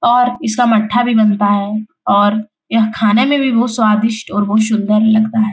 और इसका मट्ठा भी बनता है और यह खाने में भी बोहोत स्वादिष्ट और बोहोत सुंदर लागता है।